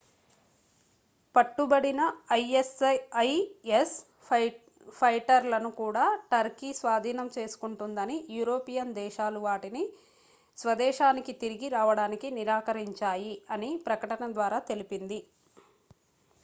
పట్టుబడిన isis ఫైటర్లను కూడా turkey స్వాధీనం చేసుకుంటుందని యూరోపియన్ దేశాలు వాటిని స్వదేశానికి తిరగి రావడానికి నిరాకరించాయి అని ప్రకటన ద్వారా తెలిపింది